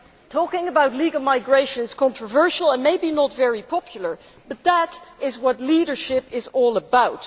Talking about legal migration is controversial and maybe not very popular, but that is what leadership is all about.